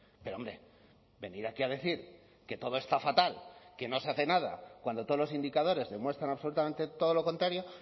pero hombre venir aquí a decir que todo está fatal que no se hace nada cuando todos los indicadores demuestran absolutamente todo lo contrario